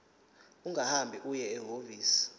ungahamba uye ehhovisi